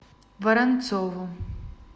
воронцову